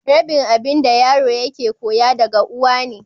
Rabin abin da yaro ke koya daga uwa ne.